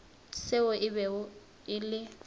seo e bego e le